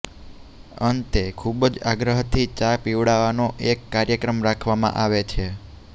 અંતે ખૂબ જ આગ્રહથી ચા પીવડાવવાનો એક કાર્યક્રમ રાખવામાં આવે છે